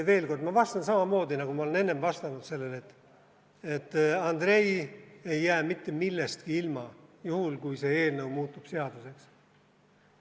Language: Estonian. Veel kord: ma vastan samamoodi, nagu ma olen enne vastanud sellele, et Andrei ei jää mitte millestki ilma, juhul kui see eelnõu muutub seaduseks.